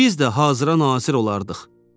Biz də hazıra nazir olardıq.